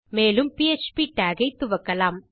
மேலும் ப்ப்டாக் ஐ துவக்கலாம்